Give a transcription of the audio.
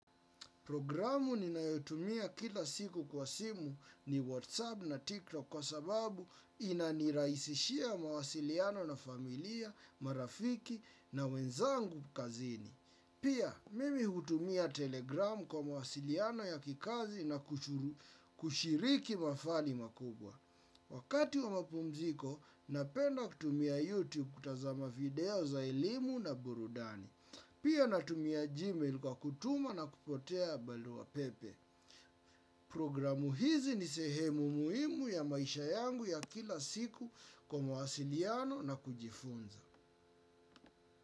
Programu ninayotumia kila siku kwa simu ni Whatsapp na TikTok kwa sababu inanirahisishia mawasiliano na familia, marafiki na wenzangu kazini. Pia, mimi hutumia Telegram kwa mawasiliano ya kikazi na kushiriki mafali makubwa. Wakati wa mapumziko, napenda kutumia YouTube kutazama video za elimu na burudani. Pia natumia Gmail kwa kutuma na kupokea barua pepe. Programu hizi ni sehemu muhimu ya maisha yangu ya kila siku kwa mawasiliano na kujifunza.